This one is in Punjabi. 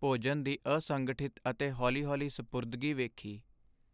ਭੋਜਨ ਦੀ ਅਸੰਗਠਿਤ ਅਤੇ ਹੌਲੀ ਹੌਲੀ ਸਪੁਰਦਗੀ ਵੇਖੀ